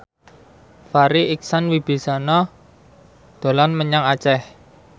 Farri Icksan Wibisana dolan menyang Aceh